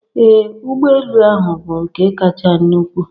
Ee ụgbọ elu ahu bụ nke kacha nnukwu.